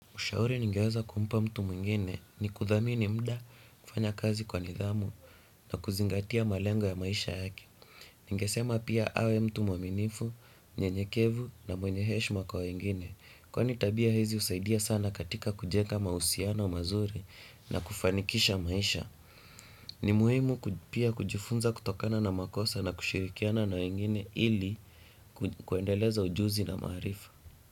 Ushauri ningeweza kumpa mtu mwingine ni kuthamini muda kufanya kazi kwa nidhamu na kuzingatia malengo ya maisha yaki. Ningesema pia awe mtu mwaminifu, nyenyekevu na mwenye iheshma kwa wengine. Kwani tabia hizi husaidia sana katika kujenga mahusiano wa mazuri na kufanikisha maisha. Ni muhimu kujifunza kutokana na makosa na kushirikiana na wengine ili kuendeleza ujuzi na maharifa.